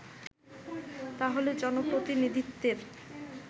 তাহলে জনপ্রতিনিধিত্বের